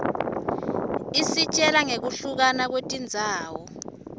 isitjela nqekuhluka kwetindzawo